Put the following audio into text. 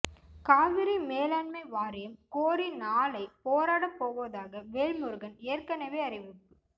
காவிரி மேலாண்மை வாரியம் கோரி நாளை போராடப் போவதாக வேல்முருகன் ஏற்கனவே அறிவிப்பு